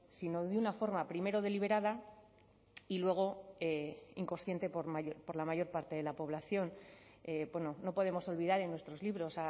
sino de una forma primero deliberada y luego inconsciente por la mayor parte de la población no podemos olvidar en nuestros libros